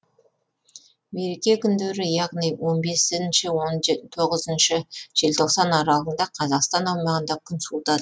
мереке күндері яғни он бесінші он тоғызыншы желтоқсан аралығында қазақстан аумағында күн суытады